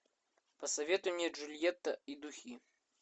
посоветуй мне джульетта и духи